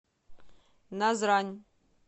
назрань